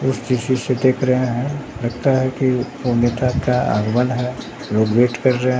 से देख रहे हैं लगता है कि कोई नेता का आगमन है लोग वेट कर रहे--